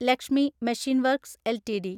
Lakshmi machine works LTD